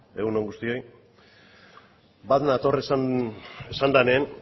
egun on guztioi bat nator esan denean